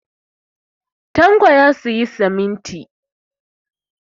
Tanko ya sayi siminti.